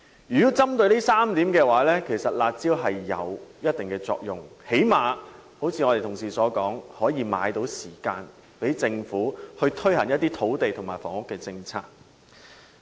如果針對這3點，"辣招"有一定的作用，最低限度可如同事所說，買到時間讓政府推行一些土地和房屋政策。